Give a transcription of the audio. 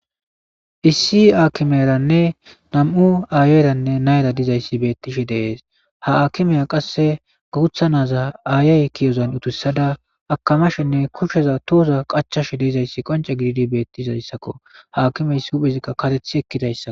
Issi aakimeranne nam7u aayayranne nayra dizayssi beettishi dees ha akimeya qasse gogutha naza aayay kiyozan utussada akamashenne kushsheza tooza qachash deezayssi qonce gididi beettizayssakko haakimeys huphezikka katethi ekkidayssak.